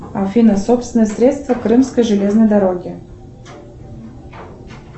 афина собственные средства крымской железной дороги